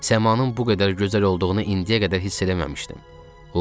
Səmanın bu qədər gözəl olduğunu indiyə qədər hiss eləməmişdim.